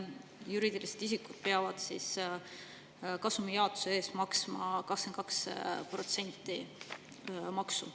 Juriidilised isikud peavad kasumijaotuse eest maksma 22% maksu.